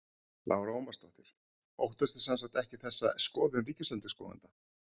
Lára Ómarsdóttir: Óttastu sem sagt ekkert þessa skoðun ríkisendurskoðanda?